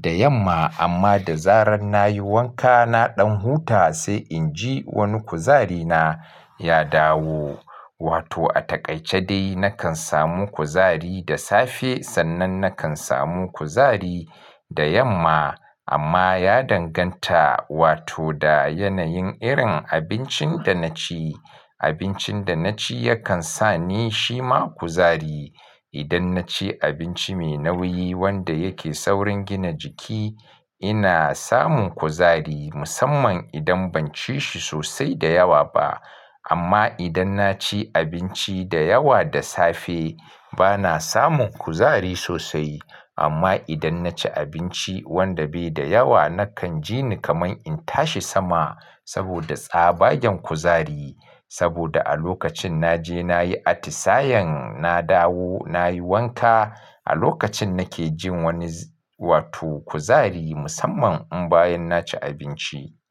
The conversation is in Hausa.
da yamma. Amma da zaran na yi wanka, na ɗan huta sai in ji wani kuzari na ya dawo. Wato a takaice dai na kan samu kuzari da safe sannan na kan samu kuzari da yamma. Amma ya danganta wato da yanayin irin abincin da na ci. Abincin da na ci yakan sa ni shima kuzari. Idan na ci abinci mai nauyi wanda yake saurin gina jiki, ina samun kuzari musamman idan ban ci shi sosai da yawa ba. Amma idan na ci abinci da yawa da safe, ba na samun kuzari sosai. Amma idan na ci abinci wanda bai da yawa, na kan ji ni kamar in tashi sama saboda tsabagen kuzari. Saboda a lokacin na je na yi atisayen, na dawo na yi wanka, a lokacin na ke jin wani wato kuzari musamman in bayan na ci abinci.